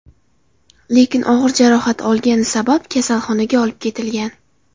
Lekin og‘ir jarohat olgani sabab, kasalxonaga olib ketilgan.